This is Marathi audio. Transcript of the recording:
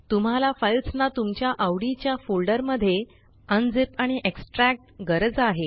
तुम्हाल फाइल्स ना तुमच्या आवडीच्या फोल्डर मध्ये अनझिप आणि एक्स्ट्रॅक्ट गरज आहे